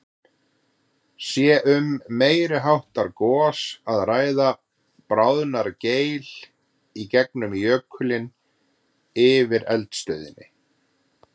Sé um meiri háttar gos að ræða, bráðnar geil í gegnum jökulinn yfir eldstöðinni.